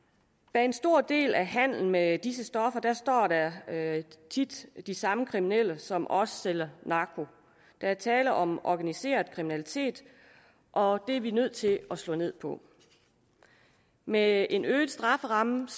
bag en stor del af handelen med disse stoffer står der tit de samme kriminelle som også sælger narko der er tale om organiseret kriminalitet og det er vi nødt til at slå ned på med en øget strafferamme